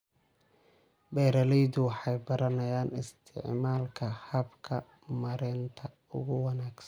Beeraleydu waxay baranayaan isticmaalka hababka maaraynta ugu wanaagsan.